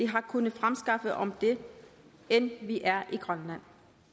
har kunnet fremskaffe om det end vi er i grønland